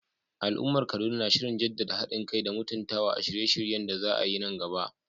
Al'ummar Kaduna na shirin jaddada hadin kai da mutuntawa a shirye-shiryen da za a yi nan gaba.